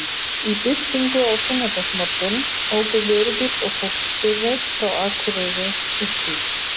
Í birtingu á sunnudagsmorgun óku vörubíll og fólksbifreið frá Akureyri uppí